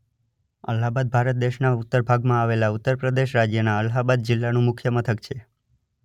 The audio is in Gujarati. અલ્હાબાદ ભારત દેશના ઉત્તર ભાગમાં આવેલા ઉત્તર પ્રદેશ રાજ્યના અલ્હાબાદ જિલ્લાનું મુખ્ય મથક છે.